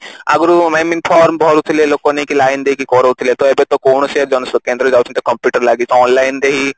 ଅଗୁରୁ I mean form ଭରୁଥିଲେ ଲୋକ ନେଇକି line ଦେଇକି କାରୋଉଥିଲେ ତ ଏବେ ତ କୌଣସି ଜନସେବା କେନ୍ଦ୍ର ଯାଉଛନ୍ତି computer ଲାଗିଛି ତ online ରେ ହିଁ